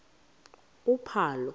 uphalo